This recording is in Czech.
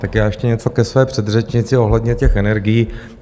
Tak já ještě něco ke své předřečnici ohledně těch energií.